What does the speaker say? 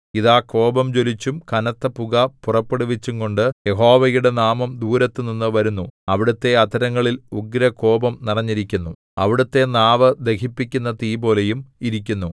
ഇതാ കോപം ജ്വലിച്ചും കനത്ത പുക പുറപ്പെടുവിച്ചുംകൊണ്ടു യഹോവയുടെ നാമം ദൂരത്തുനിന്ന് വരുന്നു അവിടുത്തെ അധരങ്ങളിൽ ഉഗ്രകോപം നിറഞ്ഞിരിക്കുന്നു അവിടുത്തെ നാവ് ദഹിപ്പിക്കുന്ന തീപോലെയും ഇരിക്കുന്നു